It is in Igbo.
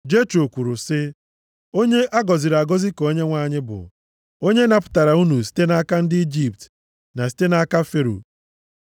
Jetro kwuru sị, “Onye a gọziri agọzi ka Onyenwe anyị bụ. Onye napụtara unu site nʼaka ndị Ijipt na site nʼaka Fero.